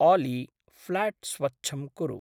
आली! फ़्ल्याट् स्वच्छं कुरु।